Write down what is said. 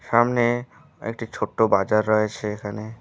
সামনে একটি ছোট্টো বাজার রয়েছে এখানে।